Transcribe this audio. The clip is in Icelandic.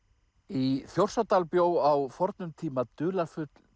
í Þjórsárdal bjó á fornum tíma dularfull